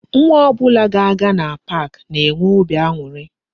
Nwa ọbụla ga-aga na pak na-enwe óbị aṅụrị